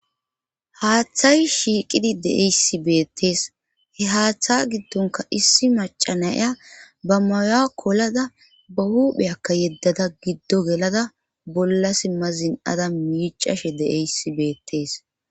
haaththay shiiqidi deeyssi beettees he haaththa giddonka issi macanaya ba maya kolada ba huupheyakka yeddada giddo gelada bolla simma zin7ada miicashe deeyssi beettees